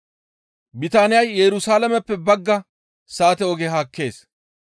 Bitaaniyay Yerusalaameppe bagga saate oge haakkees.